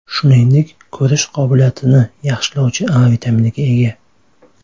Shuningdek, ko‘rish qobiliyatini yaxshilovchi A vitaminiga ega.